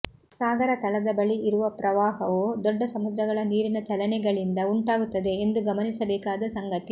ಸಾಗರ ತಳದ ಬಳಿ ಇರುವ ಪ್ರವಾಹವು ದೊಡ್ಡ ಸಮುದ್ರಗಳ ನೀರಿನ ಚಲನೆಗಳಿಂದ ಉಂಟಾಗುತ್ತದೆ ಎಂದು ಗಮನಿಸಬೇಕಾದ ಸಂಗತಿ